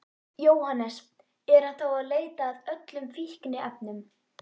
Jóhannes: Er hann þá að leita að öllum fíkniefnum?